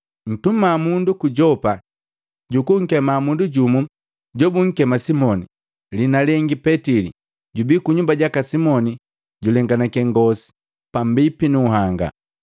Ntuma mundu ku Yopa jukunkema mundu jumu jobunkema Simoni, liina lengi Petili, jubi kunyumba jaka Simoni jojulenganake ngosi pambipi nunhanga.’